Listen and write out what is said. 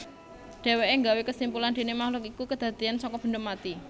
Dhéwéké gawé kesimpulan déné makhluk iku kedadéyan saka banda mati